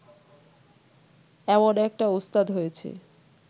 এমন একটা ওস্তাদ হয়েছে